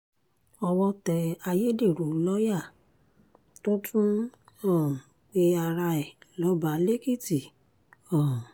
owó tẹ ayédèrú lọ́ọ́yà tó tún ń um pe ara ẹ̀ lọ́ba lèkìtì um